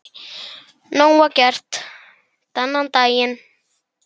Nóg að gert þennan daginn.